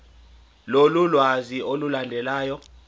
lolu lwazi olulandelayo